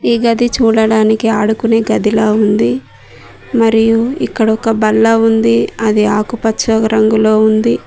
ఈ గది చూడడానికి ఆడుకునే గదిలో ఉంది మరియు ఇక్కడ ఒక బల్ల ఉంది అది ఆకుపచ్చ రంగులో ఉంది